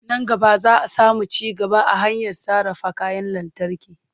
Nan gaba za a samu ci gaba a harkar sarrafa kayan lantarki.